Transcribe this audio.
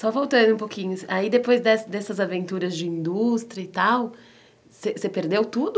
Só voltando um pouquinho, aí depois dessas dessas aventuras de indústria e tal, você perdeu tudo?